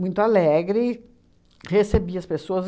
muito alegre, recebia as pessoas.